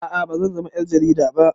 A'a bazan zama ƴar jarida ba